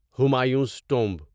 Humayun's tomb